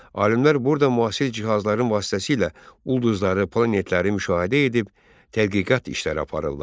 Alimlər burda müasir cihazların vasitəsilə ulduzları, planetləri müşahidə edib, tədqiqat işləri aparırlar.